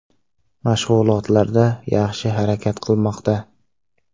Mashg‘ulotlarda yaxshi harakat qilmoqda.